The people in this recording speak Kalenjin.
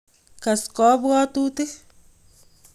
kass kabwotutik